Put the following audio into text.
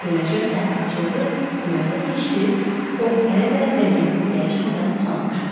Beləcə səhər açıldı, günorta keçdi, o hələ də vəziyyətini dəyişmədən uzanmışdı.